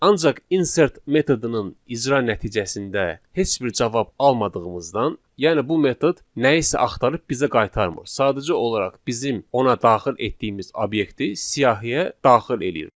Ancaq insert metodunun icra nəticəsində heç bir cavab almadığımızdan, yəni bu metod nəyisə axtarıb bizə qaytarmır, sadəcə olaraq bizim ona daxil etdiyimiz obyekti siyahıya daxil eləyir.